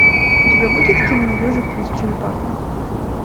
у тебя будет кино ежик плюс черепаха